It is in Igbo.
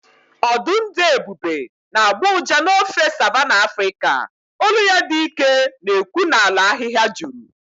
Ọdụm dị ebube na-agbọ ụja n’ofe Savanna Afrịka, olu ya dị ike na-ekwu n’ala ahịhịa juru.